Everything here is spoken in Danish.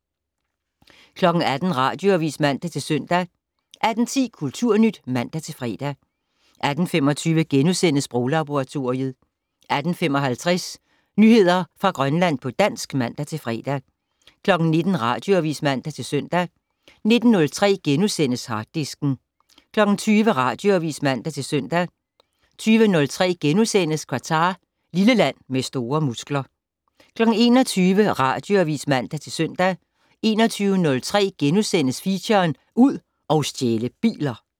18:00: Radioavis (man-søn) 18:10: Kulturnyt (man-fre) 18:25: Sproglaboratoriet * 18:55: Nyheder fra Grønland på dansk (man-fre) 19:00: Radioavis (man-søn) 19:03: Harddisken * 20:00: Radioavis (man-søn) 20:03: Qatar - lille land med store muskler * 21:00: Radioavis (man-søn) 21:03: Feature: Ud og stjæle biler *